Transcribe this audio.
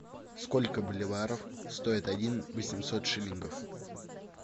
сколько боливаров стоит один восемьсот шиллингов